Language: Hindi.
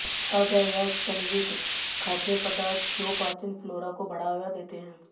ताजा या किण्वित खाद्य पदार्थ जो पाचन फ्लोरा को बढ़ावा देते हैं